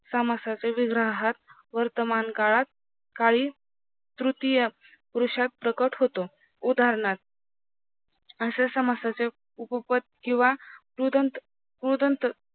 समासाचे विग्रहात वर्तमान काळात काही तृतीय वृषक प्रकट होतो उदानहार्थ अश्या समासाचे उपपद किव्हा क्रूदंत क्रूदंत